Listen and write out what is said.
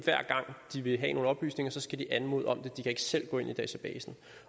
hver gang de vil have nogle oplysninger skal de anmode om det de kan ikke selv gå ind i databasen